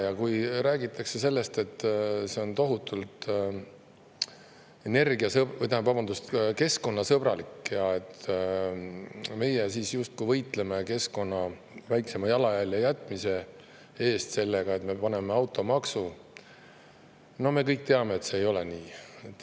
Ja kui räägitakse, et see on tohutult keskkonnasõbralik ja me justkui võitleme sellega keskkonnale väiksema jalajälje jätmise eest, kui kehtestame automaksu – me kõik teame, et see ei ole nii.